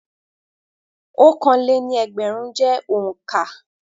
Ọ̀kanlé-ní-ẹgbẹ̀rún jẹ́ òǹkà.